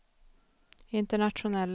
internationella